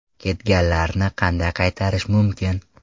Ketganlarni qanday qaytarish mumkin?.